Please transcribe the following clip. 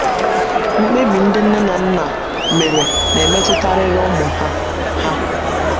Mkpebi ndị nne na nna mere na - emetụtarịrị ụmụ ha ha.